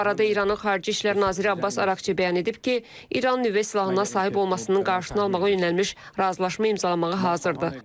Bu arada İranın Xarici İşlər naziri Abbas Araqçı bəyan edib ki, İran nüvə silahına sahib olmasının qarşısını almağa yönəlmiş razılaşma imzalamağa hazırdır.